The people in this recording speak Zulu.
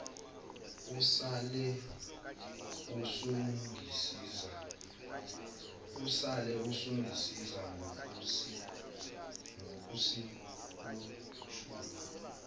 usale usungisiza ngokusihushula